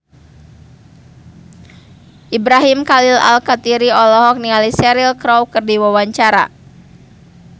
Ibrahim Khalil Alkatiri olohok ningali Cheryl Crow keur diwawancara